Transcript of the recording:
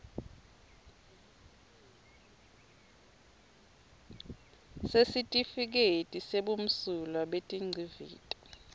sesitifiketi sebumsulwa betingcivito